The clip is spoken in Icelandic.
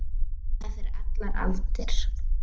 Hún vaknaði fyrir allar aldir.